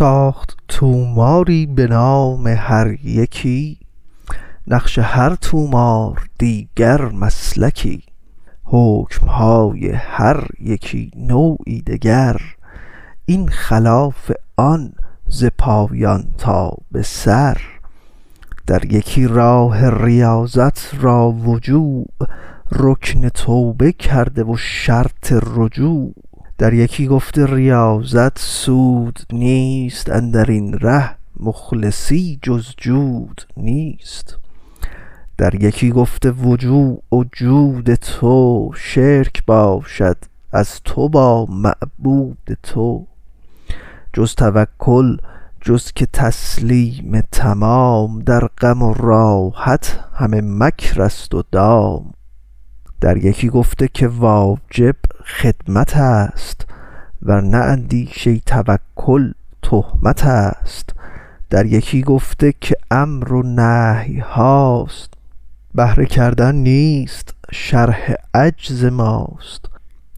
ساخت طوماری به نام هر یکی نقش هر طومار دیگر مسلکی حکم های هر یکی نوعی دگر این خلاف آن ز پایان تا به سر در یکی راه ریاضت را و جوع رکن توبه کرده و شرط رجوع در یکی گفته ریاضت سود نیست اندرین ره مخلصی جز جود نیست در یکی گفته که جوع و جود تو شرک باشد از تو با معبود تو جز توکل جز که تسلیم تمام در غم و راحت همه مکر ست و دام در یکی گفته که واجب خدمتست ور نه اندیشه توکل تهمتست در یکی گفته که امر و نهی هاست بهر کردن نیست شرح عجز ماست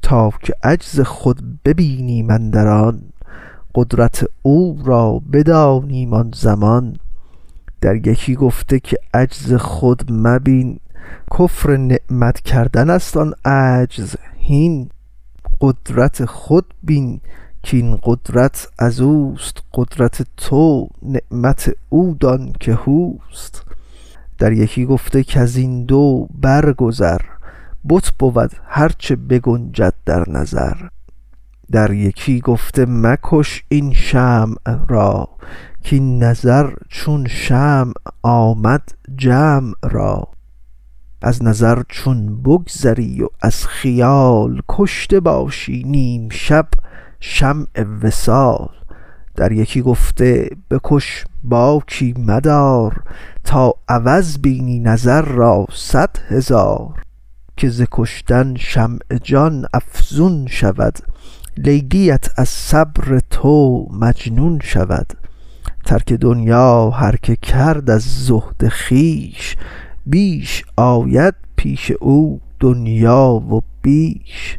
تا که عجز خود بینیم اندر آن قدرت او را بدانیم آن زمان در یکی گفته که عجز خود مبین کفر نعمت کردن است آن عجز هین قدرت خود بین که این قدرت ازوست قدرت تو نعمت او دان که هوست در یکی گفته کزین دو بر گذر بت بود هر چه بگنجد در نظر در یکی گفته مکش این شمع را کاین نظر چون شمع آمد جمع را از نظر چون بگذری و از خیال کشته باشی نیم شب شمع وصال در یکی گفته بکش باکی مدار تا عوض بینی نظر را صد هزار که ز کشتن شمع جان افزون شود لیلی ات از صبر تو مجنون شود ترک دنیا هر که کرد از زهد خویش بیش آید پیش او دنیا و بیش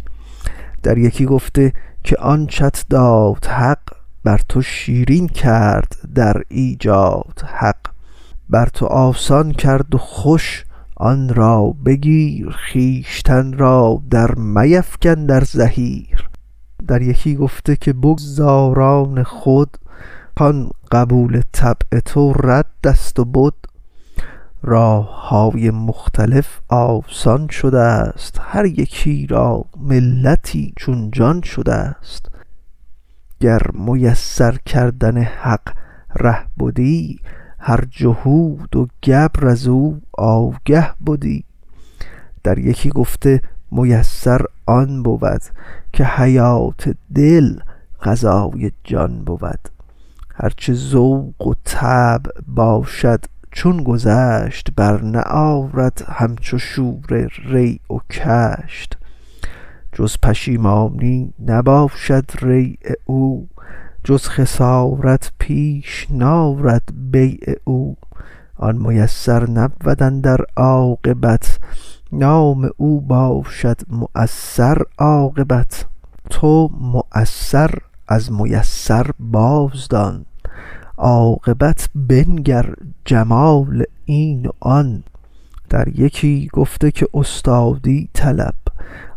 در یکی گفته که آنچت داد حق بر تو شیرین کرد در ایجاد حق بر تو آسان کرد و خوش آن را بگیر خویشتن را در میفکن در زحیر در یکی گفته که بگذار آن خود کان قبول طبع تو رد ست و بد راه های مختلف آسان شدست هر یکی را ملتی چون جان شدست گر میسر کردن حق ره بدی هر جهود و گبر ازو آگه بدی در یکی گفته میسر آن بود که حیات دل غذای جان بود هر چه ذوق طبع باشد چون گذشت بر نه آرد همچو شوره ریع و کشت جز پشیمانی نباشد ریع او جز خسارت پیش نارد بیع او آن میسر نبود اندر عاقبت نام او باشد معسر عاقبت تو معسر از میسر بازدان عاقبت بنگر جمال این و آن در یکی گفته که استادی طلب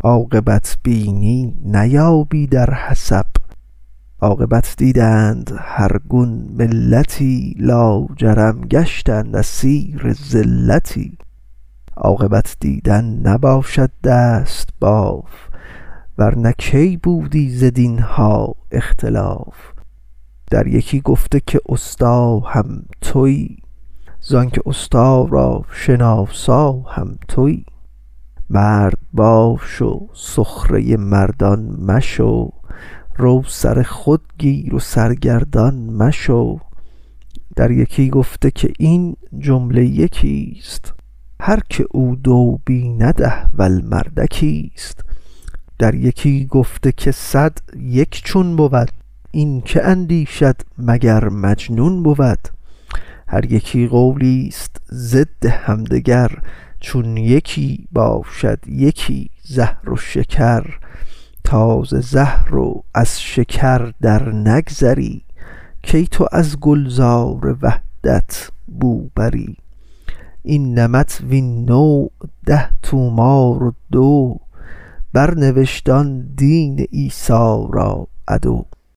عاقبت بینی نیابی در حسب عاقبت دیدند هر گون ملتی لاجرم گشتند اسیر زلتی عاقبت دیدن نباشد دست باف ورنه کی بودی ز دین ها اختلاف در یکی گفته که استا هم توی زانک استا را شناسا هم توی مرد باش و سخره مردان مشو رو سر خود گیر و سرگردان مشو در یکی گفته که این جمله یکیست هر که او دو بیند احول مردکی ست در یکی گفته که صد یک چون بود این کی اندیشد مگر مجنون بود هر یکی قولیست ضد هم دگر چون یکی باشد یکی زهر و شکر تا ز زهر و از شکر در نگذری کی تو از گلزار وحدت بو بری این نمط وین نوع ده طومار و دو بر نوشت آن دین عیسی را عدو